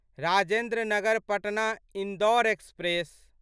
Rajendra Nagar Patna Indore express